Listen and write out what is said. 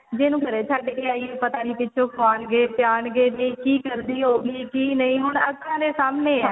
ਵੀ ਇਹਨੂੰ ਘਰੇ ਛੱਡ ਕੇ ਆਈਏ ਪਤਾ ਨਹੀਂ ਪਿੱਛੋ ਖਵਾਉਣਗੇ ਪਿਆਉਣਗੇ ਕੀ ਕਰਦੀ ਹੋਊਗੀ ਕੀ ਨਹੀਂ ਹੁਣ ਆਪਣੇ ਸਾਹਮਣੇ ਏ